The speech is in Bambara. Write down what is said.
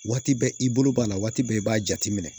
Waati bɛɛ i bolo b'a la waati bɛɛ i b'a jateminɛ